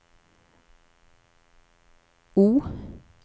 O